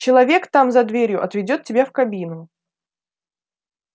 человек там за дверью отведёт тебя в кабину